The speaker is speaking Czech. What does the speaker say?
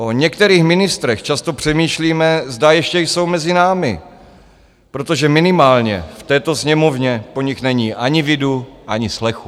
O některých ministrech často přemýšlíme, zda ještě jsou mezi námi, protože minimálně v této Sněmovně po nich není ani vidu, ani slechu.